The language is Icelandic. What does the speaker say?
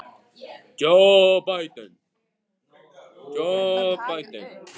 Hildar, stilltu niðurteljara á fimmtíu og fimm mínútur.